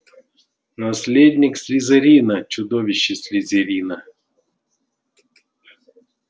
наследник слизерина чудовище слизерина